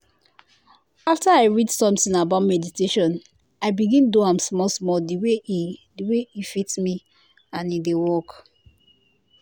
after i read something about meditation i begin do am small-small the way e the way e fit me and e dey work.